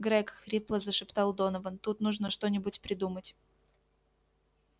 грэг хрипло зашептал донован тут нужно что-нибудь придумать